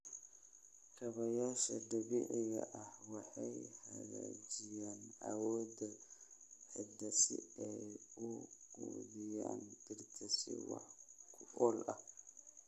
Kaabayaasha dabiiciga ah waxay hagaajiyaan awoodda ciidda si ay u quudiyaan dhirta si wax ku ool ah.